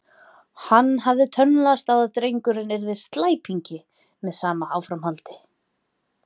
Hann hafði tönnlast á að drengurinn yrði slæpingi með sama áframhaldi.